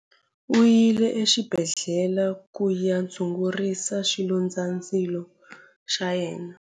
U yile exibedhlele ku ya tshungurisa xilondzandzilo xa yena.